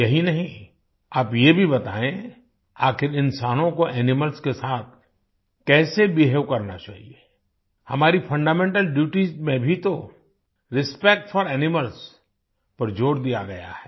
यही नहीं आप ये भी बतायें आखिर इंसानों कोएनिमल्स के साथ कैसे बेहवे करना चाहिए हमारी फंडामेंटल ड्यूटीज में भी तो रिस्पेक्ट फोर एनिमल्स पर जोर दिया गया है